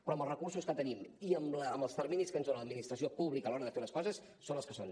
però amb els recursos que tenim i amb els terminis que ens dona l’administració pública a l’hora de fer les coses són els que són